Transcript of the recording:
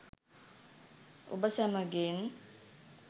ඔබ සැමගෙන්